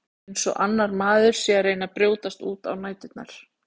Eins og annar maður sé að reyna að brjótast út á næturnar.